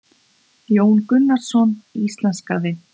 Jón Gunnarsson íslenskaði.